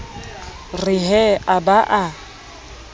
re he a ba a